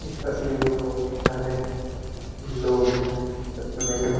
इस तस्वीर में बहुत सारे लोग है तस्वीर में--